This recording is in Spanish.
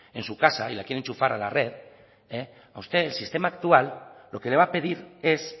en su casa y la quiere enchufar a la red este sistema actual lo que le va a pedir es